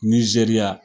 Nizeriya